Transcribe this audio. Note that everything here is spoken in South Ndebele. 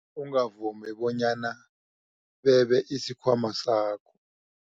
Ungavumi bonyana bebe isikhwama sakho.